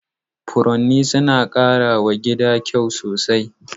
Furanni suna ƙara wa gida kyau sosai.